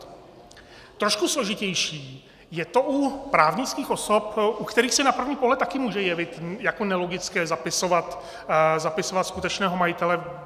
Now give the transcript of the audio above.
Trošku složitější je to u právnických osob, u kterých se na první pohled také může jevit jako nelogické zapisovat skutečného majitele.